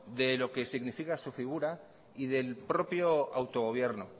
de lo que significa su figura y del propio autogobierno